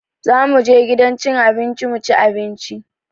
Za mu je gidan cin abinci mu ci abinci